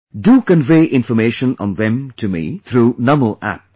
Do convey information on them to me through Namo App